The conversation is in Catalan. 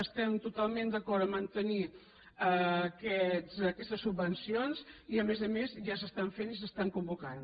estem totalment d’acord a mantenir aquestes subvencions i a més a més ja s’estan fent i s’estan convocant